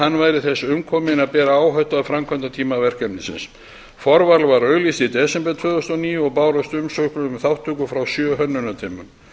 hann væri þess umkominn að bera áhættu á framkvæmdatíma verkefnisins forval var auglýst í desember tvö þúsund og níu og bárust umsóknir um þátttöku frá sjö hönnunarteymum